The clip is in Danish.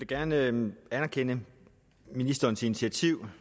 gerne anerkende ministerens initiativ